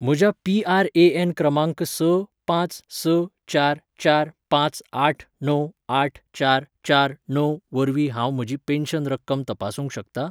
म्हज्या पीआरएएन क्रमांक स पांच स चार चार पांच आठ णव आठ चार चार णव वरवीं हांव म्हजी पेन्शन रक्कम तपासूंक शकतां ?